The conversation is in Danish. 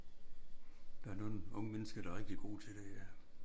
Der er nogle unge mennesker der er rigtig gode til det ja